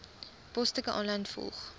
posstukke aanlyn volg